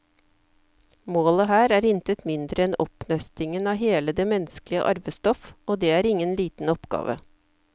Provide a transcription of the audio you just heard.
Målet her er intet mindre enn oppnøstingen av hele det menneskelige arvestoff, og det er ingen liten oppgave.